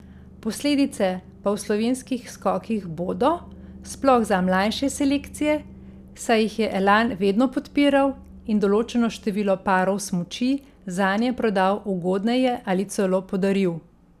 Posledice pa v slovenskih skokih bodo, sploh za mlajše selekcije, saj jih je Elan vedno podpiral in določeno število parov smuči zanje prodal ugodneje ali celo podaril.